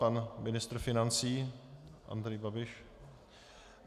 Pan ministr financí Andrej Babiš?